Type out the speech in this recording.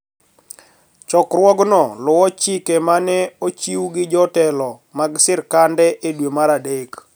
Chokruogno luwo chik ma ne ochiw gi jotelo mag sirkande e dwe mar Adek